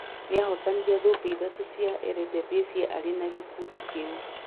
Nĩ ahotanire thũmbĩ Ithatũ cia Eredivisie arĩ na gĩkundi kĩu.